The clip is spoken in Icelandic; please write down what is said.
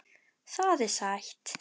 Það er sætt.